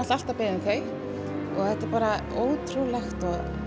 alltaf beðið um þau þetta er bara ótrúlegt og